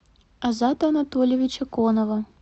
азата анатольевича конова